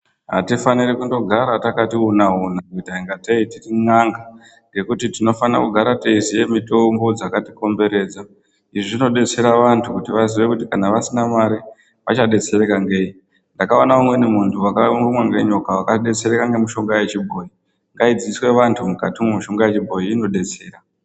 Hatifaniri kundogara takati una una kuita kungatei tiri n'anga, ngekuti tinofanire kugara teiziya mitombo dzakatikomberedza. Izvi zvinodetsera vantu kuti vaziye kuti kana vasina mari vachadetserwka ngei. Ndakaona umweni muntu wakarumwa ngenyoka wakadetserwka ngemitombo yechibhoyi. Ngaidzidziswe vantu mishonga yechibhoyi inodetsera.